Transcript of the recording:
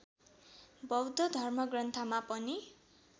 बौद्ध धर्मग्रन्थमा पनि